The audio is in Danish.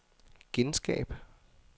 genskab